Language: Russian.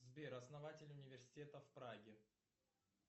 сбер основатель университета в праге